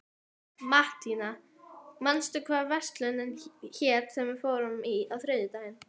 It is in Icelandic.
Mattíana, manstu hvað verslunin hét sem við fórum í á þriðjudaginn?